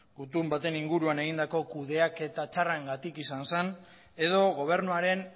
gutun baten inguruan egindako kudeaketa txarrarengatik izan zen edo gobernuaren